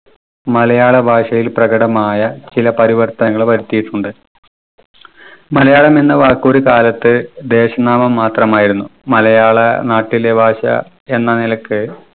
മലയാള ഭാഷയിൽ പ്രകടമായ ചില പരിവർത്തനങ്ങൾ വരുത്തിയിട്ടുണ്ട് മലയാളം എന്ന വാക്ക് ഒരു കാലത്ത് ദേശനാമം മാത്രമായിരുന്നു. മലയാള നാട്ടിലെ ഭാഷ എന്ന നിലക്ക്